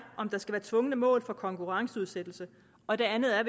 om der skal være tvungne mål for konkurrenceudsættelse og det andet er